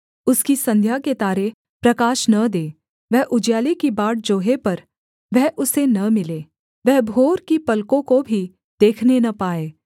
उसकी संध्या के तारे प्रकाश न दें वह उजियाले की बाट जोहे पर वह उसे न मिले वह भोर की पलकों को भी देखने न पाए